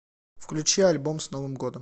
включи альбом с новым годом